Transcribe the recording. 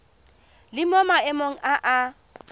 le mo maemong a a